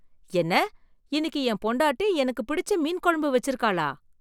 என்ன இன்னைக்கு என் பொண்ட்டாட்டி எனக்கு பிடிச்ச மீன் குழம்பு வச்சுருக்களா!